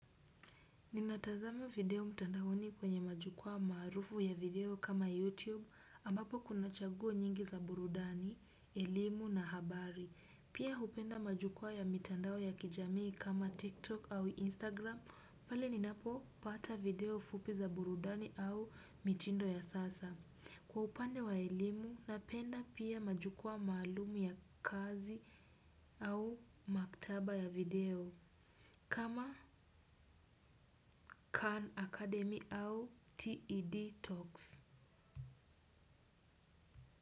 Ninatazama video mtandaoni kwenye majukwaa maarufu ya video kama YouTube ambapo kuna chaguo nyingi za burudani, elimu na habari. Pia hupenda majukwaa ya mitandao ya kijamii kama TikTok au Instagram pale ninapopata video fupi za burudani au mitindo ya sasa. Kwa upande wa elimu, napenda pia majukwaa maalum ya kazi au maktaba ya video. Kama Khan Academy au TED Talks.